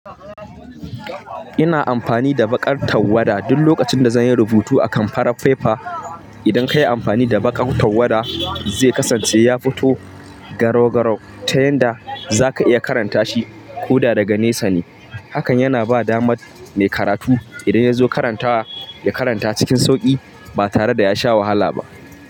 Ina amfani da baƙar tawwada duk lokacin da zan yi rubutu a kan farar fefa. Idan ka yi amfani da baƙar tawwada, zai kasance ya fito garau-garau ta yanda za ka iya karanta shi ko da daga nesa ne. Hakan yana ba damar mai karatu idan ya zo karantawa, ya karanta cikin sauƙi ba tare da ya sha wahala ba.